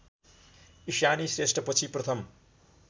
इशानी श्रेष्ठपछि प्रथम